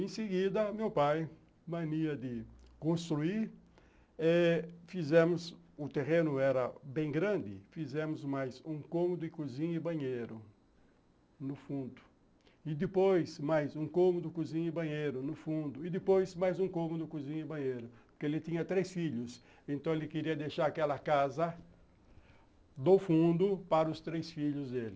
Em seguida, meu pai, mania de construir, fizemos, o terreno era bem grande, fizemos mais um cômodo, cozinha e banheiro no fundo, e depois mais um cômodo, cozinha e banheiro no fundo, e depois mais um cômodo, cozinha e banheiro, porque ele tinha três filhos, então ele queria deixar aquela casa do fundo para os três filhos dele.